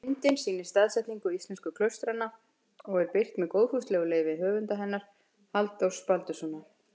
Myndin sýnir staðsetningu íslensku klaustranna og er birt með góðfúslegu leyfi höfundar hennar, Halldórs Baldurssonar.